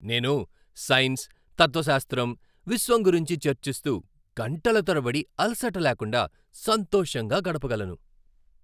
నేను సైన్స్, తత్వశాస్త్రం, విశ్వం గురించి చర్చిస్తూ గంటల తరబడి అలసట లేకుండా సంతోషంగా గడపగలను.